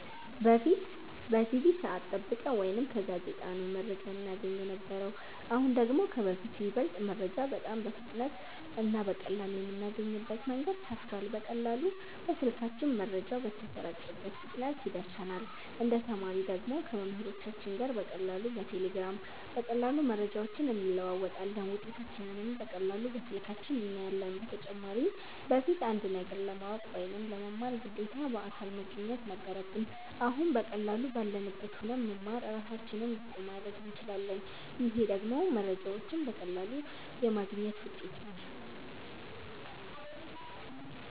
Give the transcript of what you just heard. በፊት በቲቪ ሰዐት ጠብቀን ወይ ከጋዜጣ ነው መረጃ እናገኝ የነበረው አሁን ደግሞ ከበፊቱ ይበልጥ መረጃ በጣም በፍጥነት እና በቀላሉ የምናገኝበት መንገድ ሰፍቷል በቀላሉ በስልካችን መረጃው በተሰራጨበት ፍጥነት ይደርሰናል እንደ ተማሪ ደግሞ ከመምህሮቻችን ጋር በቀላሉ በቴሌግራም በቀላሉ መረጃዎችን እንለዋወጣለን ውጤታችንንም በቀላሉ በስልካችን እናያለን በተጨማሪም በፊት አንድን ነገር ለማወቅ ወይ ለመማር ግዴታ በአካል መገኘት ነበረብን አሁን በቀላሉ ባለንበት ሁነን መማር እራሳችንን ብቁ ማረግ እንችላለን ይሄ ደግሞ መረጃዎችን በቀላሉ የማግኘት ውጤት ነው